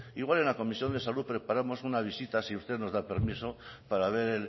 igual en la comisión de salud preparamos una visita si usted nos da permiso para ver